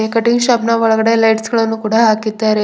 Cutting shop ನ ಒಳಗಡೆ lights ಗಳನ್ನು ಕೂಡ ಹಾಕಿದ್ದಾರೆ.